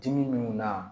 Dimi min na